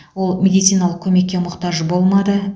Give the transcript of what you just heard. ол медициналық көмекке мұқтаж болмады